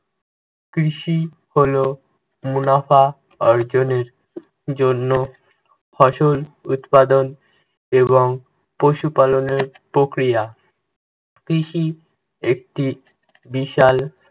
কৃষি হলো মুনাফা অর্জনের জন্য ফসল উৎপাদন এবং পশুপালনের প্রক্রিয়া। কৃষি একটি বিশাল